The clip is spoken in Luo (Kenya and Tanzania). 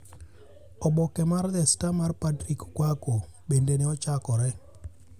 Oboke mar The Star mar Patrick Quarcoo bende ne ochakore.